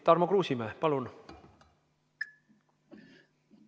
Tarmo Kruusimäe, palun!